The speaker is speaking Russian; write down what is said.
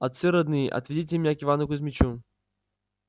отцы родные отведите меня к ивану кузмичу